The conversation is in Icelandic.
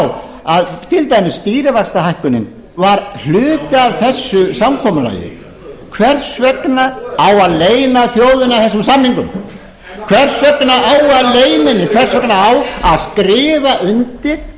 á að til dæmis stýrivaxtahækkunin var hluti af þessu samkomulagi hvers vegna á að leyna þjóðina þessum samingum hvers vegna á að leyna henni hvers vegna á að skrifa undir